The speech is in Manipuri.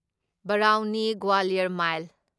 ꯕꯔꯥꯎꯅꯤ ꯒ꯭ꯋꯥꯂꯤꯌꯔ ꯃꯥꯢꯜ